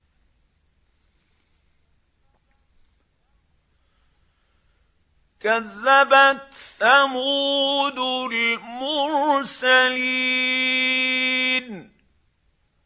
كَذَّبَتْ ثَمُودُ الْمُرْسَلِينَ